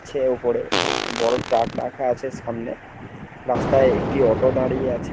আছে উপরে বড়ো ট্রাক আছে সামনে রাস্তায় একটি অটো দাঁড়িয়ে আছে।